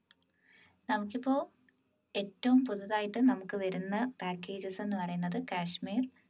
നമുക്കിപ്പോ ഏറ്റവും പുതുതായി നമുക്ക് വരുന്ന packages എന്ന് പറയുന്നത് കാശ്മീർ